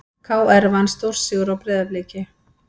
KR vann stórsigur á Breiðabliki